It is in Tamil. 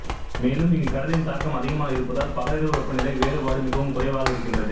மேலும் இங்கு கடலின் தாக்கம் அதிகமாக இருப்பதால் பகல் இரவு வெப்பநிலை வேறுபாடு மிகவும் குறைவாக இருக்கின்றது